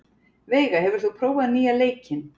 Veiga, hefur þú prófað nýja leikinn?